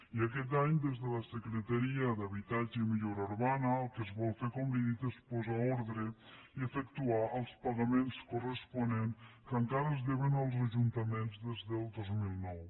i aquest any des de la secretaria d’habitatge i millora urbana el que es vol fer com li he dit és posar ordre i efectuar els pagaments corresponents que encara es deuen als ajuntaments des del dos mil nou